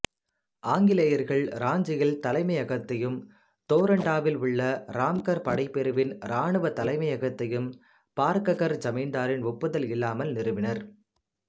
ஆங்கிலேயர்கள் ராஞ்சியில் தலைமையகத்தையும் தோரண்டாவில் உள்ள ராம்கர் படைப்பிரிவின் இராணுவத் தலைமையகத்தையும் பார்ககர் ஜமீந்தாரின் ஒப்புதல் இல்லாமல் நிறுவினர்